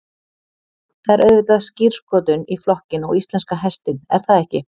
Það er auðvitað skírskotun í flokkinn og íslenska hestinn er það ekki?